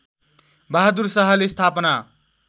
बहादुर शाहले स्थापना